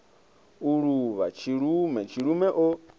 u luvha tshilume tshilume o